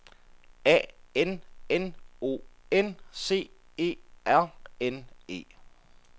A N N O N C E R N E